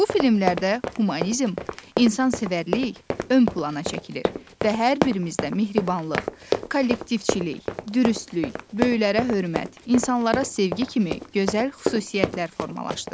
Bu filmlərdə humanizm, insansevərlik ön plana çəkilir və hər birimizdə mehribanlıq, kollektivçilik, dürüstlük, böyüklərə hörmət, insanlara sevgi kimi gözəl xüsusiyyətlər formalaşdırır.